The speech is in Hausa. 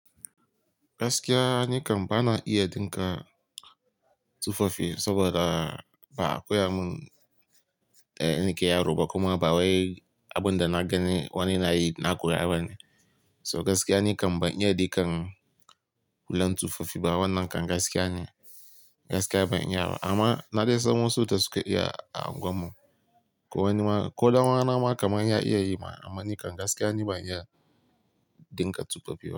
Gaskiya ni kam bana iya dinka tufafi saboda ba akoya mun eh nake yaro ba kuma ba waye abun da na gani wani nayi na koya ba ne. So gaskiya ni kam ban iya dikan hulan tufafi ba wannan kam gaskiya ne, gaskiya ban iya ba. Amma na dai san wasu da suka iya a unguwan mu. Ko wani ma, ko dan uwa na ma kamar ya iya yi ma, amma ni kan gaskiya ni ban iya dinka tufafi ba.